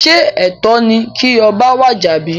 Sé ètó ni kí oba wàjà bí?